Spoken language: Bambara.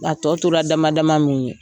A tɔ tora dama dama mun ye.